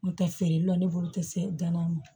N'o tɛ feerelaw ne bolo tɛ se danna ma